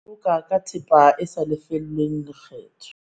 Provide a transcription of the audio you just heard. Boloka ka thepa e sa lefellweng lekgetho